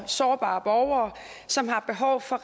sårbare borgere som har behov for